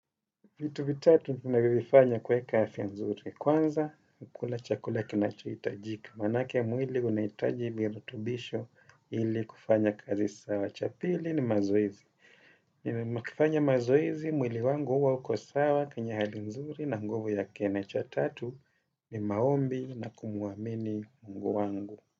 Vitu vitatu ninavyovifanya kuweka afya nzuri. Kwanza, kukula chakula kinachohitajika. Manake mwili unahitaji mirutubisho ili kufanya kazi sawa. Cha pili ni mazoezi. Nikifanya mazoezi mwili wangu huwa uko sawa, kwenye hali nzuri na nguvu yake na cha tatu. Bi maombi na kumuamini Mungu wangu.